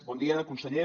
bon dia conseller